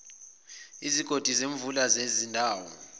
izigodi zemvula zezindawo